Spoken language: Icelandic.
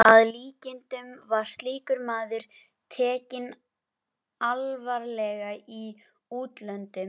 Hann var landskunnur orðinn og af illu einu.